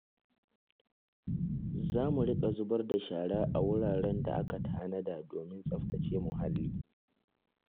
Za mu riƙa zubar da shara a wuraren da aka tanada domin tsaftace muhalli.